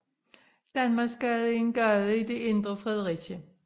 Danmarksgade er en gade i det indre Fredericia